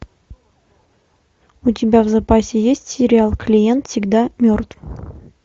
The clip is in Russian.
у тебя в запасе есть сериал клиент всегда мертв